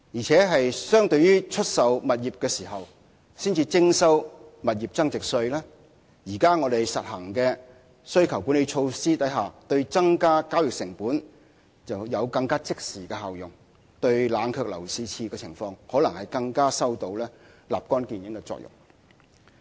此外，相對出售物業時才徵收的物業增值稅，現時我們實行的需求管理措施，對增加交易成本有更即時的效用，對冷卻樓市熾熱的情況可能更有立竿見影的作用。